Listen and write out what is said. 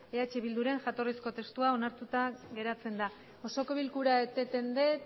eh bilduren jatorrizko testua onartuta geratzen da osoko bilkura eteten dut